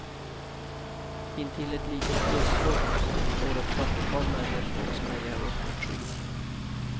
Intill ett litet lustslott står ett fyrtiotal människor och spejar upp mot skyn.